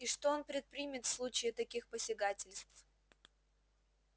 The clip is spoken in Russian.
и что он предпримет в случае таких посягательств